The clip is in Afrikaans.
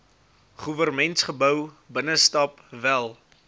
goewermentsgebou binnestap wel